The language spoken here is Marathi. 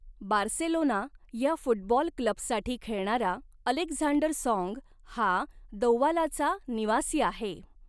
बार्सेलोना ह्या फुटबॉल क्लबसाठी खेळणारा अलेक्झांडर सॉंग हा दौआलाचा निवासी आहे.